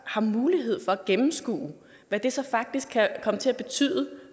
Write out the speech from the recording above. har mulighed for at gennemskue hvad det så faktisk kan komme til at betyde